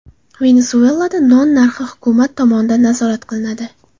Venesuelada non narxi hukumat tomonidan nazorat qilinadi.